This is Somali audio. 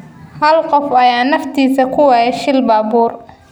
Hal qof ayaa naftiisa ku waayey shil baabuur